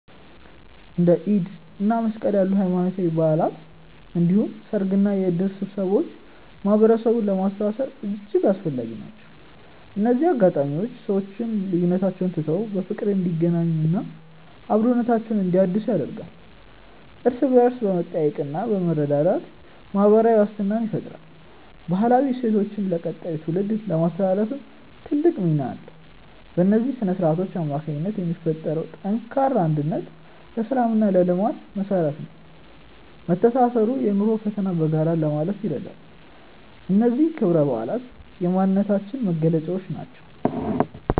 እንደ ኢድ እና መስቀል ያሉ ሃይማኖታዊ በዓላት እንዲሁም ሰርግና የእድር ስብሰባዎች ማህበረሰቡን ለማስተሳሰር እጅግ አስፈላጊ ናቸው። እነዚህ አጋጣሚዎች ሰዎች ልዩነቶቻቸውን ትተው በፍቅር እንዲገናኙና አብሮነታቸውን እንዲያድሱ ያደርጋሉ። እርስ በእርስ በመጠያየቅና በመረዳዳት ማህበራዊ ዋስትናን ይፈጥራሉ። ባህላዊ እሴቶቻችንን ለቀጣዩ ትውልድ ለማስተላለፍም ትልቅ ሚና አላቸው። በእነዚህ ስነ-ስርዓቶች አማካኝነት የሚፈጠረው ጠንካራ አንድነት ለሰላምና ለልማት መሰረት ነው። መተሳሰሩ የኑሮን ፈተና በጋራ ለማለፍ ይረዳል። እነዚህ ክብረ በዓላት የማንነታችን መገለጫዎች ናቸው።